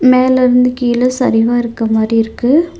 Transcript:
மேலருந்து கீழ சரிவா இருக்க மாரி இருக்கு.